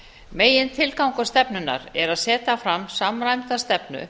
megintilgangur stefnunnar er að setja fram samræmda stefnu